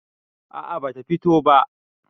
a a bata fito ba